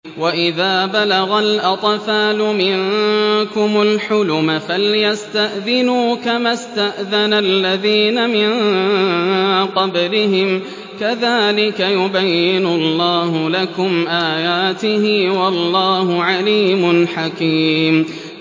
وَإِذَا بَلَغَ الْأَطْفَالُ مِنكُمُ الْحُلُمَ فَلْيَسْتَأْذِنُوا كَمَا اسْتَأْذَنَ الَّذِينَ مِن قَبْلِهِمْ ۚ كَذَٰلِكَ يُبَيِّنُ اللَّهُ لَكُمْ آيَاتِهِ ۗ وَاللَّهُ عَلِيمٌ حَكِيمٌ